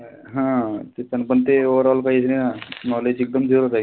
हा तेपण ते overall पाहिजे ना knowledge एकदम zero राहीन.